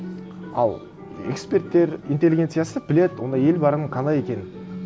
ал эксперттер интеллигенциясы біледі ондай ел барын қалай екенін